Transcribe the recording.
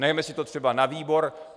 Nechme si to třeba na výbor.